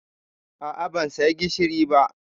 A'a, ban saya gishiri ba